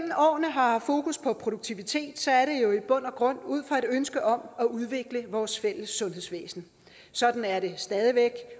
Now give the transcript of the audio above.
har haft fokus på produktivitet ja så er det jo i bund og grund ud fra et ønske om at udvikle vores fælles sundhedsvæsen sådan er det